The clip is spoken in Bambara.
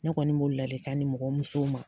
Ne kɔni b'o ladilikan di mɔgɔw musow ma.